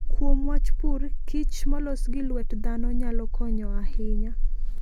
Kuom wach pur, kich molos gi luet dhano nyalo konyo ahinya.